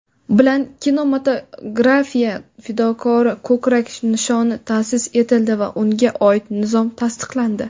bilan "Kinematografiya fidokori" ko‘krak nishoni ta’sis etildi va unga oid nizom tasdiqlandi.